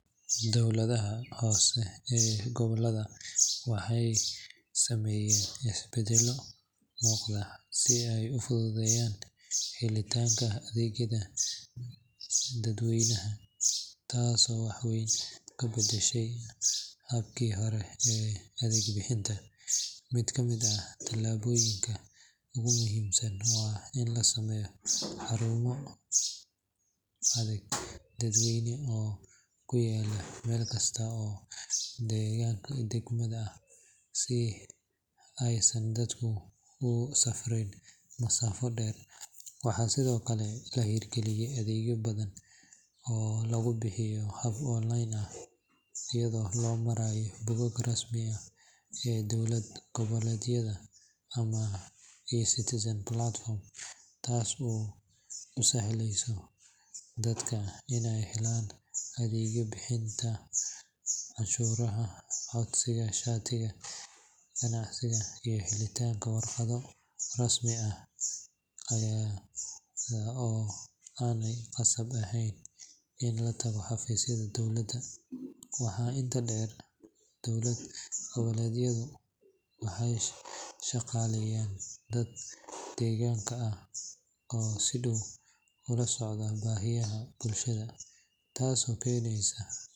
Dowladaha hoose ee gobollada waxay sameeyeen isbeddello muuqda si ay u fududeeyaan helitaanka adeegyada dadweynaha, taasoo wax weyn ka beddeshay habkii hore ee adeeg bixinta. Mid ka mid ah talaabooyinka ugu muhiimsan waa in la sameeyay xarumo adeeg dadweyne oo ku yaalla meel kasta oo degmada ah, si aysan dadku ugu safriin masaafo dheer. Waxaa sidoo kale la hirgeliyay adeegyo badan oo lagu bixiyo hab online ah, iyadoo loo marayo bogagga rasmiga ah ee dowlad goboleedyada ama eCitizen platform, taasoo u sahleysa dadka inay helaan adeegyo sida bixinta cashuuraha, codsiga shatiyada ganacsiga, iyo helitaanka warqado rasmi ah ayada oo aanay qasab ahayn in la tago xafiisyada dowladda. Waxaa intaa dheer, dowlad goboleedyadu waxay shaqaaleeyaan dad deegaanka ah oo si dhow ula socda baahiyaha bulshada, taasoo keeneysa.